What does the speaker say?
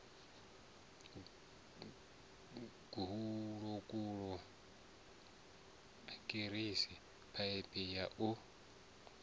gulokulo arikisi phaiphi ya u